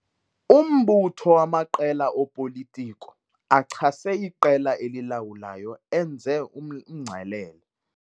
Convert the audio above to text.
Umbutho wamaqela opolitiko achase iqela elilawulayo enze umngcelele.